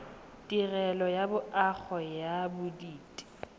tirelo ya loago ya bodit